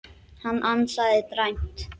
Hann ansaði dræmt.